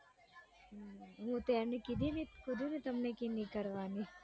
હું ત્યાંની કિધેલી કે તમને હમ